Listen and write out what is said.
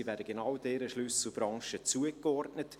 Diese werden genau dieser Schlüsselbranche zugeordnet.